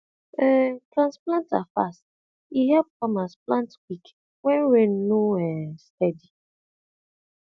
um transplanter fast e help farmers plant quick when rain no um steady